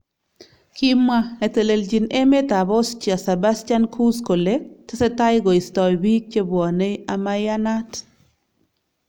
Kimwa netelejin emet ab Austria Sebastian Kurz kole tesetai koisto bik chebwonei amaianat.